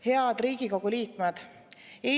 Head Riigikogu liikmed!